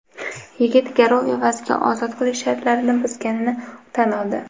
yigit garov evaziga ozod qilish shartlarini buzganini tan oldi.